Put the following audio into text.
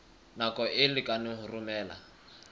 nako e lekaneng ho romela